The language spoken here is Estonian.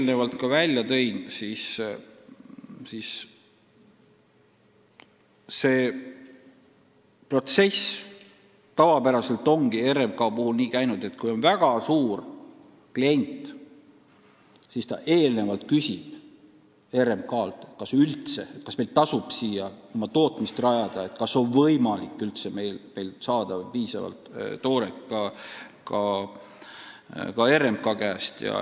Nagu ma juba välja tõin, RMK-s ongi protsess tavapäraselt käinud nii, et kui on väga suur klient, siis ta eelnevalt küsib RMK-lt, kas tal üldse tasub mõelda oma tehase rajamisele, kas tal oleks võimalik saada piisavalt tooret ka RMK käest.